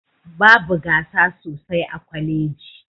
Babu gasa sosai a kwaleji